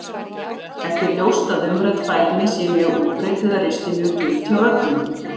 Ekki er ljóst að umrædd fælni sé mjög útbreidd eða risti mjög djúpt hjá öllum.